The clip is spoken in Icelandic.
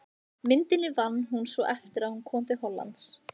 Myndina vann hún svo eftir að hún kom til Hollands.